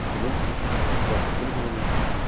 взамен получить бесплатное пользование